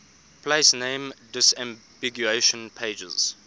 place name disambiguation pages